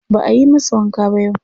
Ba ayi masa wanka ba yau.